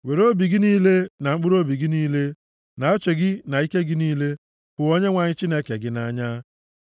Were obi gị niile, na mkpụrụobi gị niile, na uche gị na ike gị niile, hụ Onyenwe anyị Chineke gị nʼanya.